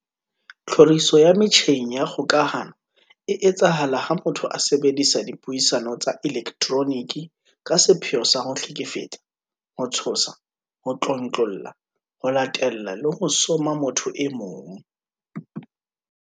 Tlhoriso ya metjheng ya kgokahano e etsahala ha motho a sebedisa dipuisano tsa elektroniki ka sepheo sa ho hlekefetsa, ho tshosa, ho tlontlolla, ho latella le ho soma motho e mong.